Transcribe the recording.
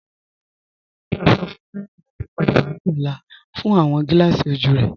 Dòkìtà sọ fún Henry láti pádà wà ní ọ̀là fún awọn gílààsí ojú rẹ.